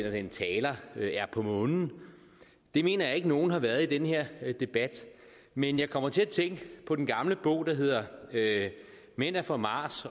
og den taler er på månen det mener jeg ikke nogen har været i den her debat men jeg kommer til at tænke på den gamle bog der hedder mænd er fra mars